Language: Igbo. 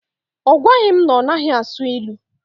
Ọ gwaghi m na ọ naghị asụ ilu.